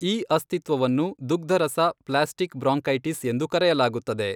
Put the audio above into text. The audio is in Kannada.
ಈ ಅಸ್ತಿತ್ವವನ್ನು ದುಗ್ಧರಸ ಪ್ಲಾಸ್ಟಿಕ್ ಬ್ರಾಂಕೈಟಿಸ್ ಎಂದು ಕರೆಯಲಾಗುತ್ತದೆ.